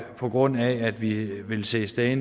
på grund af at vi vil se stadig